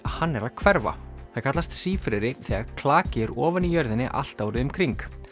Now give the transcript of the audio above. hann er að hverfa það kallast sífreri þegar klaki er ofan í jörðinni allt árið um kring